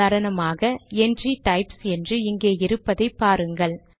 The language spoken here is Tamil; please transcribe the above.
உதாரணமாக என்ட்ரி டைப்ஸ் என்று இங்கே இருப்பதை பாருங்கள்